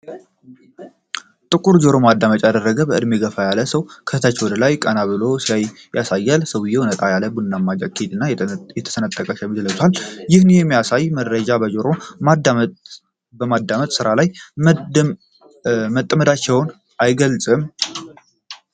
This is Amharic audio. ጥቁር ጆሮ ማዳመጫ ያደረገ በዕድሜ የገፉ ሰው ከታች ወደ ላይ ቀና ብለው ሲያዩ ያሳያል። ሰውየው ነጣ ያለ ቡናማ ጃኬት እና የተሰነጠቀ ሸሚዝ ለብሰዋል፤ ይህ የሚያሳየው መረጃን በጆሮ ማዳመጫ በማዳመጥ ስራ ላይ መጠመዳቸውን አይገልጽም?